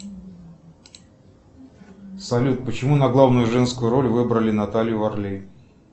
салют почему на главную женскую роль выбрали наталью варлей